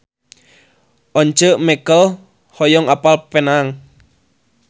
Once Mekel hoyong apal Penang